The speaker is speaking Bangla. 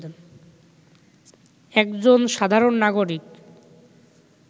একজন সাধারণ নাগরিক